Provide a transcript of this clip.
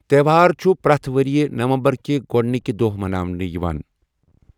تیوہار چھٗ پریتھ ورِیہ نومبر كہِ گوڈنٕكہِ دوہ مناونہٕ یوان ۔